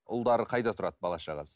ұлдары қайда тұрады бала шағасы